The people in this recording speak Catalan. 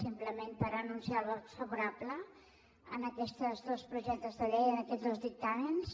simplement per anunciar el vot favorable a aquests dos projectes de llei a aquests dos dictàmens